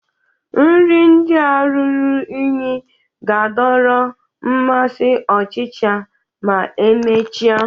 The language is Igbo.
Nri ndị a ruru unyi ga-adọrọ mmasị ọchịcha ma emechaa